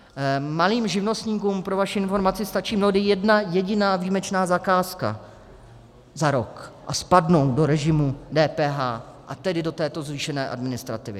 Malým živnostníkům, pro vaši informaci, stačí mnohdy jedna jediná výjimečná zakázka za rok a spadnou do režimu DPH, a tedy do této zvýšené administrativy.